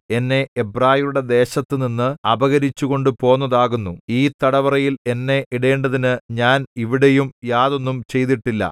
എന്നെ എബ്രായരുടെ ദേശത്തുനിന്ന് അപഹരിച്ചുകൊണ്ടുപോന്നതാകുന്നു ഈ തടവറയിൽ എന്നെ ഇടേണ്ടതിന് ഞാൻ ഇവിടെയും യാതൊന്നും ചെയ്തിട്ടില്ല